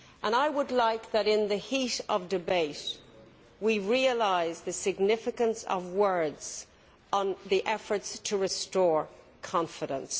I would like us, in the heat of debate, to realise the significance of words on the efforts to restore confidence.